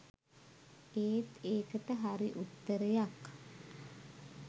ඒත් ඒකට හරි උත්තරයක්